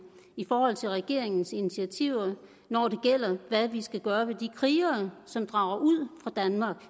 i forhold til regeringens initiativer når det gælder hvad vi skal gøre ved de krigere som drager ud fra danmark